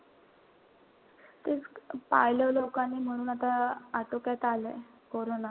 तेच पाहिलं लोकांनी म्हणून आता आटोक्यात आलंय कोरोना.